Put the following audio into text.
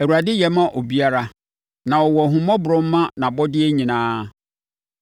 Awurade yɛ ma obiara; na ɔwɔ ahummɔborɔ ma nʼabɔdeɛ nyinaa.